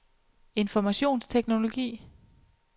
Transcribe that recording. informationsteknologi